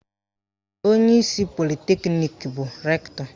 Onyeisi politeknik bụ Rektọ